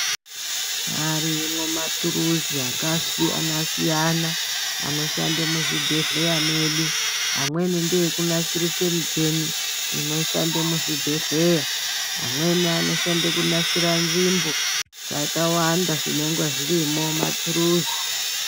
Arimo maturuzi akasiyana siyana anoshanda muzvibhedhlera mwedu amweni ndeekunasira michini inoshande muzvibhedhlera amweni ndeekunasira nzvimbo zvakàwanda zvinenge zvirimo mumaturuzi.